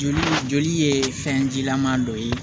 Joli joli ye fɛnjilama dɔ ye